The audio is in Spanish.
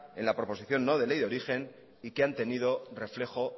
en la proposición no de ley de origen y que han tenido reflejo